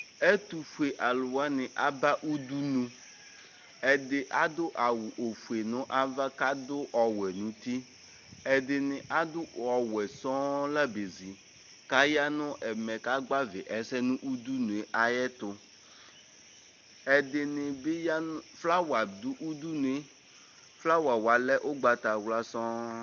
Ɛtufue aluwani aba udunuƐdi adʋ awu ofue nu ava, kʋ adʋ ɔwɛ nʋ utiɛdini adʋ ɔwɛ sɔɔŋ la bezi Katã nʋ ɛmɛ kagbavi ɛsɛ nʋ udunue ayɛtu Ɛdini bi ya nʋ, flawa dʋ udunueFlawa wa lɛ ugbatawla sɔŋ